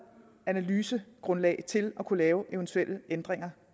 analysegrundlag til at kunne lave eventuelle ændringer